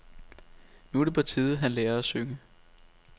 Nu er det på tide han lærer at synge.